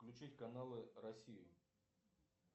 включить каналы россию